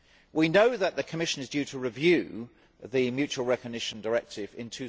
We know that the Commission is due to review the mutual recognition directive in